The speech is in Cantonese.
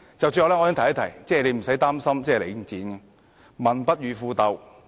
最後，我亦想提醒局長無須擔心領展，因為"民不與富鬥"。